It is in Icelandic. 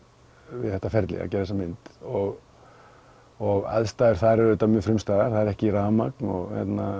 við þetta ferli að gera þessa mynd og og aðstæður þar eru auðvitað mjög frumstæðar það er ekki rafmagn og